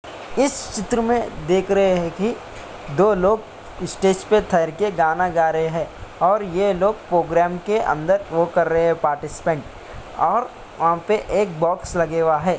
इस चित्र में देख रहे है कि दो लोग स्टेज पे ठहर के गाना गा रही है और ये लोग प्रोग्राम के अंदर वो कर रहे है पार्टिसिपेंट और वहाँ पे एक बॉक्स लगेवा है।